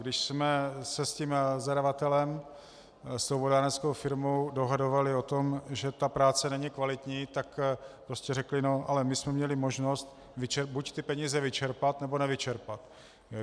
Když jsme se s tím zadavatelem, s tou vodárenskou firmou dohadovali o tom, že ta práce není kvalitní, tak prostě řekli: No ale my jsme měli možnost buď ty peníze vyčerpat, nebo nevyčerpat.